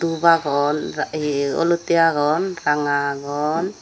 dhup agon olotte agon ranga agon.